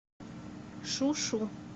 шу шу